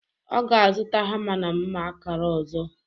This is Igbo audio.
Ọ ga-azụta hama na mma akara ọzọ.